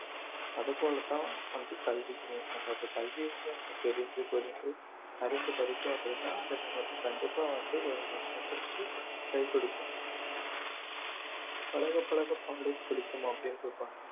அது போலதான் வந்து கல்வியுமே நம்ம இப்போ கல்வி வந்து அறிந்து படிச்சோம் அப்படின்னா அது நமக்கு கண்டிப்பா வந்து வந்து கை கொடுக்கும் பழகப் பழக பாலும் புளிக்கும் அப்படின்னு சொல்லுவாங்க